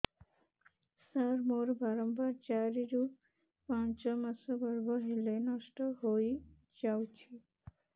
ସାର ମୋର ବାରମ୍ବାର ଚାରି ରୁ ପାଞ୍ଚ ମାସ ଗର୍ଭ ହେଲେ ନଷ୍ଟ ହଇଯାଉଛି